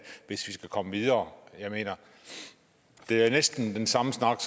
hvis vi skal komme videre det er næsten den samme snak